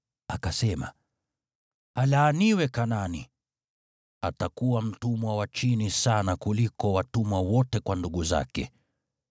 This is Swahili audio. akasema, “Alaaniwe Kanaani! Atakuwa mtumwa wa chini sana kuliko watumwa wote kwa ndugu zake.”